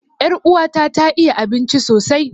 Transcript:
Er'uwa ta ta iya abinci sosai.